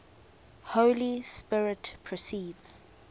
holy spirit proceeds